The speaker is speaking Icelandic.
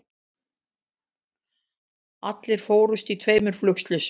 Allir fórust í tveimur flugslysum